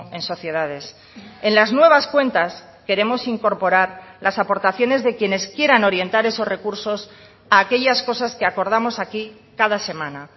en sociedades en las nuevas cuentas queremos incorporar las aportaciones de quienes quieran orientar esos recursos a aquellas cosas que acordamos aquí cada semana